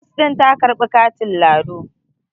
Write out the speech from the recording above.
Nos din ta ka karbi katin lado